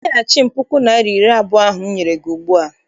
Nyeghachi m puku naịra na iri abụọ ahụ m nyere gị ugbua!